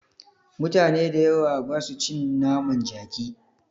Mutane da yawa basu cin naman jaki